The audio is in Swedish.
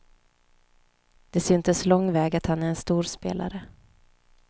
Det syntes lång väg att han är en stor spelare.